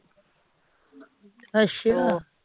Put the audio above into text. ਅੱਛਾ